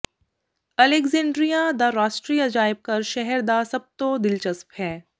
Alexandria ਦਾ ਰਾਸ਼ਟਰੀ ਅਜਾਇਬ ਘਰ ਸ਼ਹਿਰ ਦਾ ਸਭ ਤੋਂ ਦਿਲਚਸਪ ਹੈ